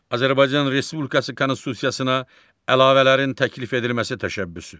Azərbaycan Respublikası konstitusiyasına əlavələrin təklif edilməsi təşəbbüsü.